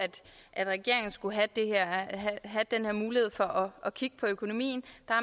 at regeringen skulle have den her mulighed for at kigge på økonomien